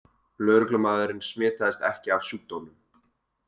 Lögreglumaðurinn smitaðist ekki af sjúkdómnum